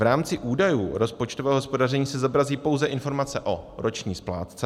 V rámci údajů rozpočtového hospodaření se zobrazí pouze informace o roční splátce.